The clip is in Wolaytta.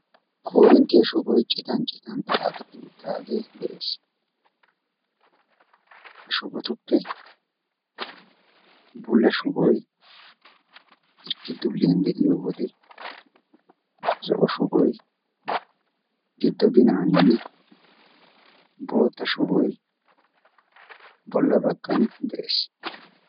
Korinttiyaa shuboyi citan citan xaaxetti uttaagee de'ees. ta shubotuppe bulla shuboy hirkki dulliyan de'iyo wode zo'o shuboy giddo binaaninne bootta shuboy bolla baggan de'ees.